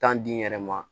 Tan di n yɛrɛ ma